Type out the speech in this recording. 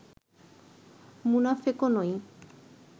মুনাফেকও নই